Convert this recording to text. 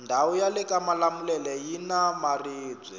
ndawu yalekamalamulele yina maribwe